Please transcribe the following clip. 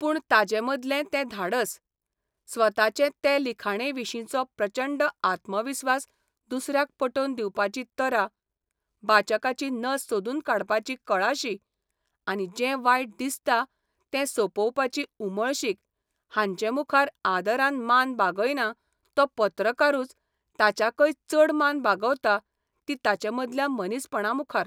पूण ताचे मदलें तें धाडस, स्वताचे तें लिखणेविशींचो प्रचंड आत्मविस्वास दुसऱ्याक पटोवन दिवपाची तरा, बाचकाची नस सोदून काडपाची कळाशी आनी जें वायट दिसता तें सोपोवपाची उमळशीक हांचे मुखार आदरान मान बागयना तो पत्रकारूच ताच्याकय चड मान बागवता ती ताचे मदल्या मनीसपणामुखार.